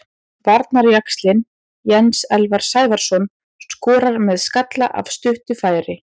Varnarjaxlinn Jens Elvar Sævarsson skorar með skalla af stuttu færi.